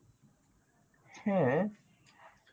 হ্যা.